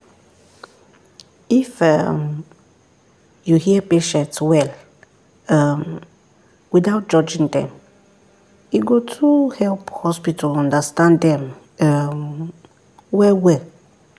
if um you hear patients well um without judging dem e go too help hospital understand them um well well